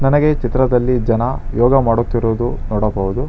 ನನಗೆ ಚಿತ್ರದಲ್ಲಿ ಜನ ಯೋಗ ಮಾಡುತ್ತಿರುವುದು ನೋಡಬಹುದು.